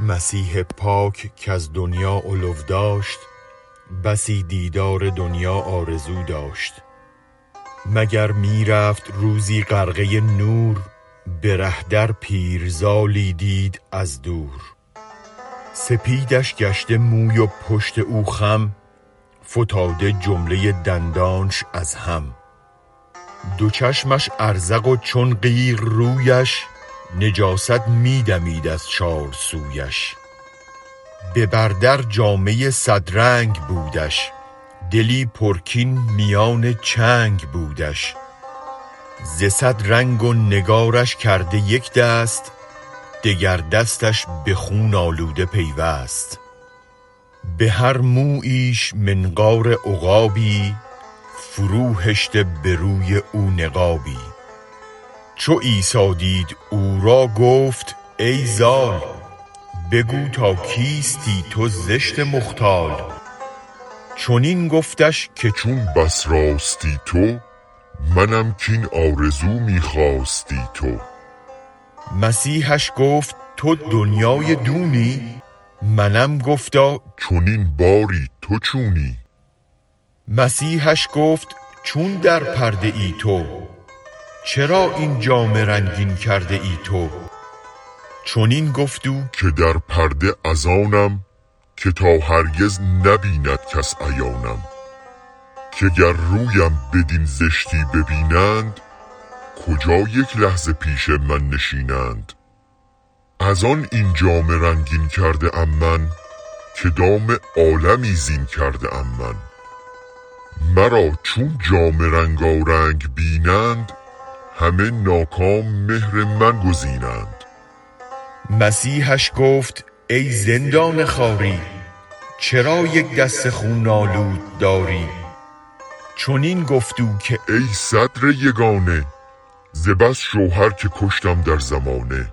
مسیح پاک کز دنیا علو داشت بسی دیدار دنیا آرزو داشت مگر می رفت روزی غرقه نور بره در پیر زالی دید از دور سپیدش گشته موی و پشت او خم فتاده جمله دندانش از هم دو چشمش ازرق و چون قیر رویش نجاست می دمید از چار سویش ببر درجامه صد رنگ بودش دلی پر کین میان چنگ بودش بصد رنگی نگارین کرده یک دست دگر دستش بخون آلوده پیوست بهر موییش منقار عقابی فرو هشته بروی او نقابی چو عیسی دید او را گفت ای زال بگو تا کیستی ای زشت مختال چنین گفت او که چون بس راستی تو منم آن آرزو که خواستی تو مسیحش گفت تو دنیای دونی منم گفتا چنین باری تو چونی مسیحش گفت چون در پرده تو چرا این جامه رنگین کرده تو چنین گفت او که در پرده ازانم که تا هرگز نه بیند کس عیانم که گر رویم بدین زشتی به بینند کجا یک لحظه پیش من نشینند ازان این جامه رنگین کرده ام من که گم ره عالمی زین کرده ام من مرا چون جامه رنگارنگ بینند همه ناکام مهر من گزینند مسیحش گفت ای زندان خواری چرا یک دست خون آلوده داری جوابش داد کای صدر یگانه ز بس شوهر که کشتم در زمانه